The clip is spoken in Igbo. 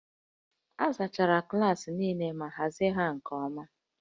A zachara klaasị niile ma hazie ha nke ọma